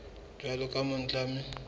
jwalo ka o motjha mme